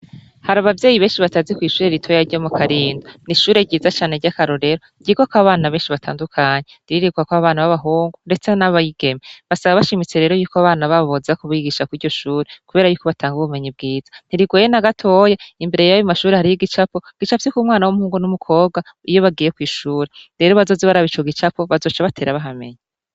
Hari abavyeyi benshi batazi kw'ishuri ritoya ryo mu karinda ni ishure ryiza cane rya karorero gigo ko abana benshi batandukanyi riririrwako abana b'abahungu, ndetse n'abayigeme basaba bashimitse rero yuko bana bababoza ku bigisha ko iryo shure, kubera yuko batanga ubumenyi bwiza ntirigwena gatoya imbere yabo mashuri hariyo igicapo gicavyi k'umwana w'umpungu n'umukobwa iyo bagiye kw'ishura rero bazoze barabicoga icako bazosa batera bahamenyiy.